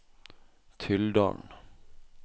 Tylldalen